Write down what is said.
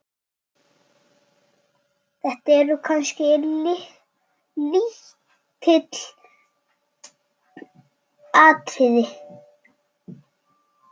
Þetta eru kannski lítil atriði.